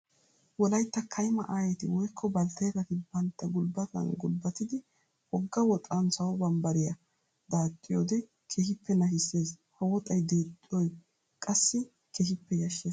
Wolaytta kayimma aayetti woykko balttetati banttta gulbbattan gulbbatiddi wogga woxan sawo bambbariya daaxxiyoode keehippe nashisees. Ha woxay deexxoy qassi keehippe yashshees.